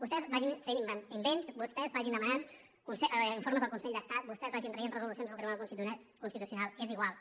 vostès vagin fent invents vostès vagin demanant informes al consell d’estat vostès vagin traient resolucions del tribunal constitucional és igual